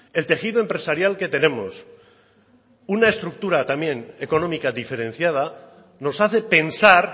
el tejido empresarial que tenemos una estructura también económica diferenciada nos hace pensar